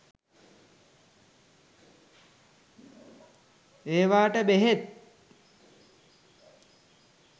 ඒවාට බෙහෙත්